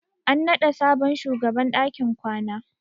An naɗa sabon shugaban dakin kwana.